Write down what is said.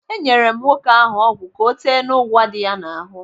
Enyere m nwoke ahụ ọgwụ ka ọ tee n'ụgwa dị ya n'ahụ.